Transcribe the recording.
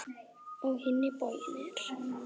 Á hinn bóginn er